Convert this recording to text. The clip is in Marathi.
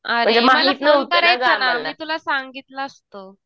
अरे मला फोन करायचं ना मी तुला सांगितलं असतं.